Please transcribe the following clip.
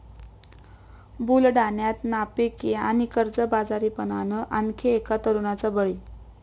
बुलडाण्यात नापिकी आणि कर्जबाजारीपणानं आणखी एका तरुणाचा बळी